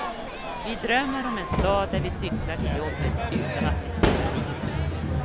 Vi drömmer om en stad där vi cyklar till jobbet utan att riskera livet.